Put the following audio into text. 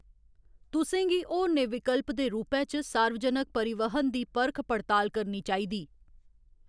तुसें गी होरनें विकल्प दे रूपै च सार्वजनक परिवहन दी परख पड़ताल करनी चाहिदी।